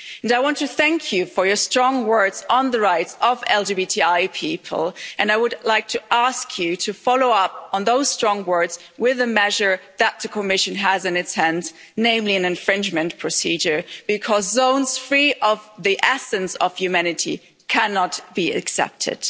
I want to thank you for your strong words on the rights of LGBTI people and I would like to ask you to follow up on those strong words with a measure that the Commission has in its hands, namely an infringement procedure, because zones free of the essence of humanity cannot be accepted.